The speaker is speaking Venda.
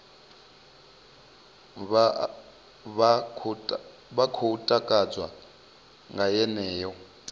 vha khou takadzwa nga yeneyo